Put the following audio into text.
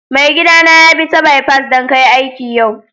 Maigida na ya bi'ta bipas dan kai aiki yau.